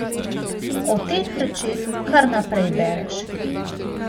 O teh rečeh kar naprej bereš.